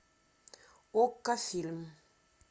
окко фильм